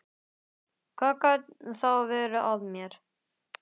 Hvað gat þá verið að mér?